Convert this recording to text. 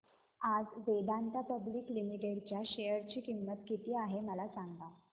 आज Vedanta public limited च्या share ची किंमत किती आहे मला सांगा